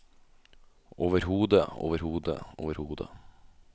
overhodet overhodet overhodet